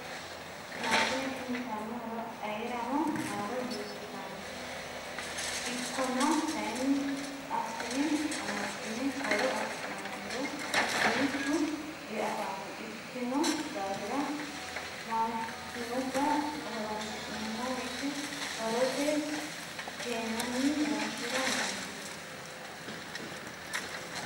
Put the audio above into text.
Maashine tini uyittano horo ayeerano haaro di"ikkittano ikkona kayinni assine amaxine horo affi'nanniro duuchu diafano ikkino daafira maashinubba horonsi'neemmo woyte horose keennanni horonsira noonke.